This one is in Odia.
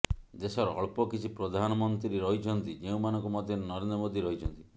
ଦେଶର ଅଳ୍ପ କିଛି ପ୍ରଧାନମନ୍ତ୍ରୀ ରହିଛନ୍ତି ଯେଉଁମାନଙ୍କ ମଧ୍ୟରେ ନରେନ୍ଦ୍ର ମୋଦି ରହିଛନ୍ତି